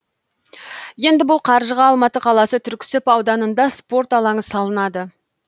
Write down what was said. енді бұл қаржыға алматы қаласы түрксіб ауданында спорт алаңы салынады